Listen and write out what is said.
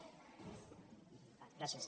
gràcies